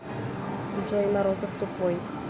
джой морозов тупой